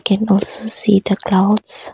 Can also see the clouds.